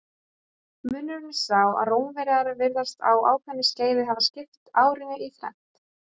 Munurinn er sá að Rómverjar virðast á ákveðnu skeiði hafa skipt árinu í þrennt.